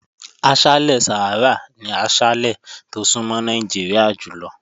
Aṣálẹ̀ Sàhárà ni aṣálẹ̀ tó súnmọ́ Nàìjíríà jùlọ.